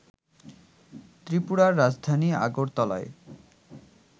ত্রিপুরার রাজধানী আগরতলায়